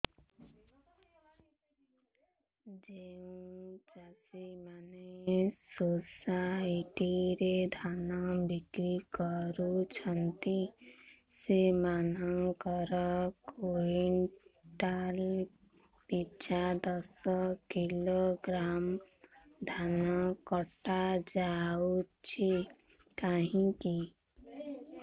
ଯେଉଁ ଚାଷୀ ମାନେ ସୋସାଇଟି ରେ ଧାନ ବିକ୍ରି କରୁଛନ୍ତି ସେମାନଙ୍କର କୁଇଣ୍ଟାଲ ପିଛା ଦଶ କିଲୋଗ୍ରାମ ଧାନ କଟା ଯାଉଛି କାହିଁକି